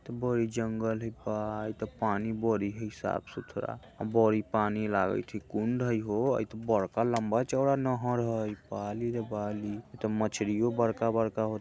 इ तो बड़ी जंगल हय बा इ ते पानी बड़ी ही साफ-सुथरा बड़ी पानी लागे छै कुंड हय होअ इ ते बड़का लंबा चौड़ा नहर हय बाली रे बाली इ तो मछलियों बड़का-बड़का हो --